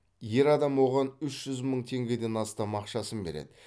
ер адам оған үш жүз мың теңгеден астам ақшасын береді